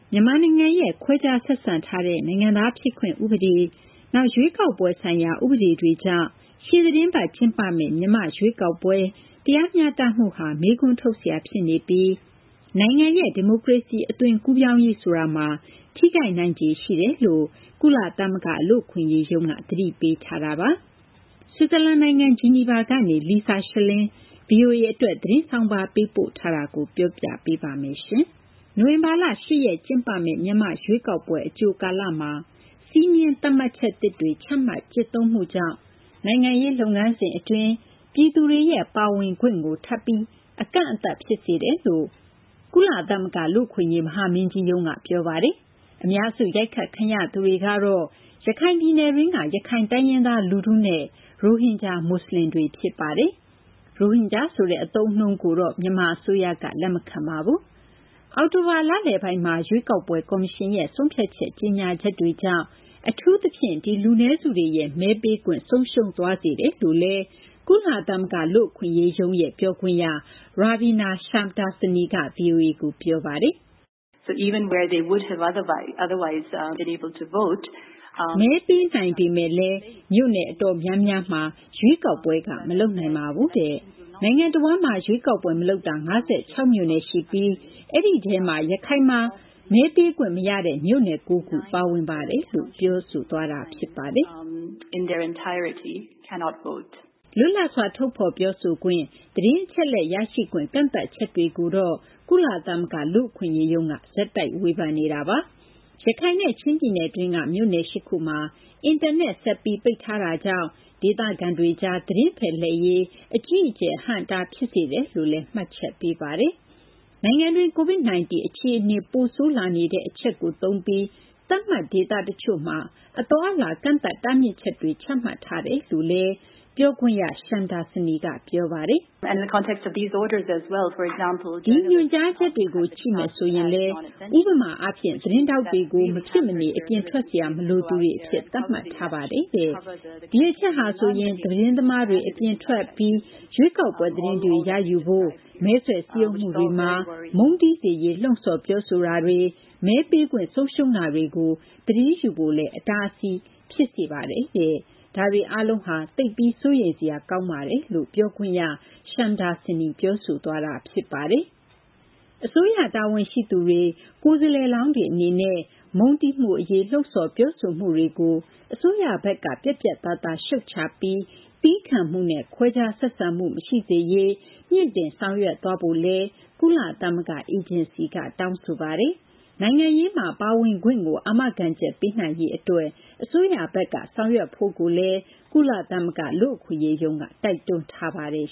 မြန်မာနိုင်ငံရဲ့ ခွဲခြားဆက်ဆံထားတဲ့ နိုင်ငံသားဖြစ်ခွင့် ဥပဒေ၊ နောက် ရွေးကောက်ပွဲဆိုင်ရာ ဥပဒေတွေကြောင့် ရှေ့သီတင်းပတ် ကျင်းပမယ့် မြန်မာ့ရွေးကောက်ပွဲ တရားမျှတမှုဟာ မေးခွန်းထုတ်စရာ ဖြစ်နေပြီး နိုင်ငံရဲ့ ဒီမိုကရေစီ အသွင်ကူးပြောင်းရေး ဆိုတာမှာ ထိခိုက်နိုင်ခြေရှိကြောင်း ကုလသမဂ္ဂ လူ့အခွင့်အရေးရုံးက သတိပေးထားပါတယ်။ ဆွစ်ဇာလန်နိုင်ငံ ဂျီနီဗာကနေ Lisa Schlein က ဗွီအိုအေအတွက် သတင်းဆောင်းပါး ပေးပို့ထားတာကို မသိင်္ဂီထိုက် တင်ပြပေးထားပါတယ်။ နိုဝင်ဘာလ ၈ ရက် ကျင်းပမယ့် မြန်မာ့ရွေးကောက်ပွဲ အကြိုကာလမှာ စည်းမျဉ်းသတ်မှတ်ချက်သစ်တွေ ချမှတ် ကျင့်သုံးမှုကြောင့် နိုင်ငံရေး လုပ်ငန်းစဉ်အတွင်း ပြည်သူတွေရဲ့ ပါဝင်ခွင့်ကို ထပ်ပြီး ကန့်သတ်မှု ဖြစ်စေတယ်လို့ ကုလသမဂ္ဂ လူ့အခွင့်အရေး မဟာမင်းကြီးရုံးက ပြောပါတယ်။ အများစု ရိုက်ခတ်ခံရသူတွေကတော့ ရခိုင်ပြည်နယ်တွင်းက ရခိုင်တိုင်းရင်းသား လူထုနဲ့ ရိုဟင်ဂျာ မွတ်စလင်တွေ ဖြစ်ပါတယ်။ ရိုဟင်ဂျာဆိုတဲ့ အသုံးအနှုန်းကို မြန်မာအစိုးရက လက်မခံပါဘူး။ အောက်တိုဘာလလယ်ပိုင်းမှာ ရွေးကောက်ပွဲ ကော်မရှင်ရဲ့ ဆုံးဖြတ် ကြေညာချက်တွေကြောင့် အထူးသဖြင့် ဒီလူနည်းစုတွေရဲ့ မဲပေးခွင့် ဆုံးရှုံးသွားစေတယ်လို့လည်း ကုလသမဂ္ဂ လူ့အခွင့်အရေးရုံး ပြောခွင့်ရ Ravina Shamdasani က ဗွီအိုအေကို ပြောပါတယ်။ “မဲပေးနိုင်ပေမယ့်လည်း မြို့နယ်အတော်များများမှာ ရွေးကောက်ပွဲက မလုပ်ပါဘူး။ နိုင်ငံတဝန်းမှာ ရွေးကောက်ပွဲမလုပ်တာ ၅၆ မြို့နယ် ရှိပါတယ်။ ဒီထဲမှာ ရခိုင်မှာ လုံးဝ မဲပေးခွင့်မရတဲ့ မြို့နယ် ၉ ခု ပါဝင်ပါတယ်။” လွတ်လပ်စွာ ထုတ်ဖော်ပြောဆိုခွင့်၊ သတင်းအချက်အလက် ရရှိခွင့် ကန့်သတ်ချက်တွေကိုတော့ ကုလသမဂ္ဂ လူ့အခွင့်အရေးရုံးက ဆက်တိုက် ဝေဖန်နေတာပါ။ ရခိုင်နဲ့ ချင်းပြည်နယ်တွင်းက မြို့နယ် ၈ ခုမှာ အင်တာနက် ဆက်ပြီး ပိတ်ထားတာကြောင့် ဒေသခံတွေကြား သတင်းဖလှယ်ရေး အကြီးအကျယ် အဟန့်အတား ဖြစ်စေတယ်လို့လည်း မှတ်ချက်ပေးပါတယ်။ နိုင်ငံတွင်း COVID-19 အခြေအနေ ပိုဆိုးလာနေတာကို သုံးပြီး သတ်မှတ်ဒေသတချို့မှာ အသွားအလာ ကန့်သတ်တားမြစ်ချက်တွေ ချမှတ်ထားတယ်လို့လည်း ပြောခွင့်ရ Shamdasani က ပြောပါတယ်။ “ဒီညွှန်ကြားချက်တွေကို ကြည့်မယ်ဆိုရင်လည်း ဥပမာအားဖြင့် သတင်းထောက်တွေကို မဖြစ်မနေ အပြင်ထွက်စရာ မလိုသူတွေအဖြစ် သတ်မှတ်ထားပါတယ်။ ဒီအချက်ဟာဆိုရင် သတင်းသမားတွေ အပြင်ထွက်ပြီး ရွေးကောက်ပွဲသတင်းတွေ ရယူဖို့၊ မဲဆွယ်စည်းရုံးမှုတွေမှာ မုန်းတီးစေရေး လှုံ့ဆော်ပြောဆိုတာတွေ၊ မဲပေးခွင့် ဆုံးရှုံးတာတွေကို သတင်းယူဖို့ အတားအဆီး ဖြစ်စေပါတယ်။ ဒါတွေအားလုံးဟာ သိပ်ကို စိုးရိမ်စရာ ကောင်းပါတယ်။” အစိုးရ တာဝန်ရှိသူတွေ၊ ကိုယ်စားလှယ်လောင်းတွေ အနေနဲ့ မုန်းတီးမှုအရေး လှုံ့ဆော် ပြောဆိုမှုတွေကို အစိုးရဘက်က ပြတ်ပြတ်သားသား ရှုတ်ချပြီး သည်းခံမှုနဲ့ ခွဲခြားဆက်ဆံမှု မရှိစေရေး မြှင့်တင်ဆောင်ရွက်ဖို့လည်း ကုလသမဂ္ဂ အေဂျင်စီက တောင်းဆိုပါတယ်။ နိုင်ငံရေးမှာ ပါဝင်ခွင့်ကို အာမခံချက်ပေးနိုင်ရေး အစိုးရဘက်က ဆောင်ရွက်ဖို့လည်း ကုလသမဂ္ဂ လူ့အခွင့်အရေးရုံးက တိုက်တွန်းထားပါတယ်